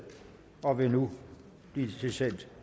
og vil nu blive sendt til